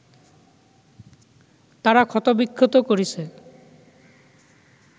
তারা ক্ষতবিক্ষত করেছে